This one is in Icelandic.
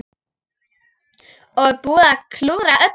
Og búinn að klúðra öllu!